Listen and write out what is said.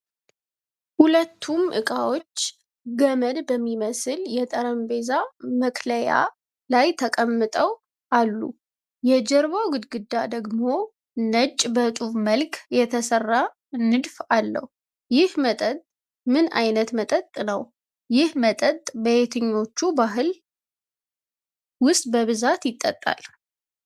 ሁለቱም እቃዎች ገመድ በሚመስል የጠረጴዛ መክለያ ላይ ተቀምጠው አሉ፤ የጀርባው ግድግዳ ደግሞ ነጭ በጡብ መልክ የተሰራ ንድፍ አለው። ይህ መጠጥ ምን ዓይነት መጠጥ ነው? ይህ መጠጥ በየትኞቹ ባህሎች ውስጥ በብዛት ይጠጣሉ?